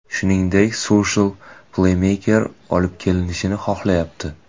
Shuningdek, Sulsher pleymeker olib kelinishini xohlayapti.